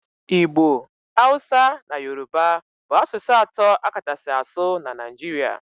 Igbo, Hausa na Yoruba bụ asụsụ atọ a kachasị asụ na Nigeria